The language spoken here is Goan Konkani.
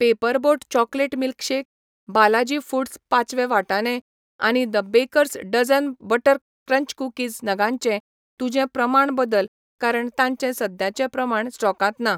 Paper boat chocolate milkshake, Balaji foods पाचवे वाटाणे आनी the baker's dozen butter crunch cookies नगांचें तुजें प्रमाण बदल कारण तांचे सद्याचे प्रमाण स्टॉकांत ना.